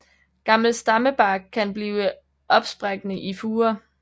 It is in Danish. Gammel stammebark kan blive opsprækkende i furer